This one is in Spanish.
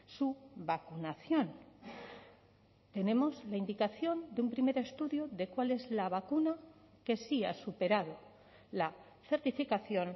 su vacunación tenemos la indicación de un primer estudio de cuál es la vacuna que sí ha superado la certificación